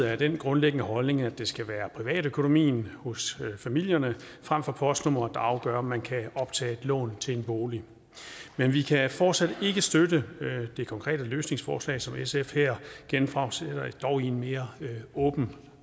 er af den grundlæggende holdning at det skal være privatøkonomien hos familierne frem for postnummeret der afgør om man kan optage et lån til en bolig men vi kan fortsat ikke støtte det konkrete løsningsforslag som sf her genfremsætter dog i en mere åben